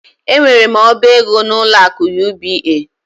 Enwere m oba ego n'ụlọ akụ UBA.